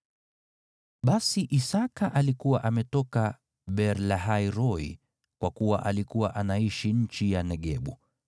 Basi Isaki alikuwa ametoka Beer-Lahai-Roi, kwa kuwa alikuwa anaishi nchi ya Negebu.